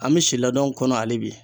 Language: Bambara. An mi si ladon kɔnɔ ali bi